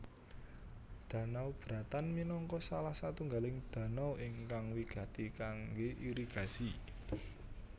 Danau Bratan minangka salah satunggaling danau ingkang wigati kangge irigasi